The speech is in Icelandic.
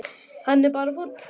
Hann er bara fúll.